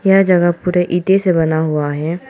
यह जगह पूरे ईंटे से बना हुआ है।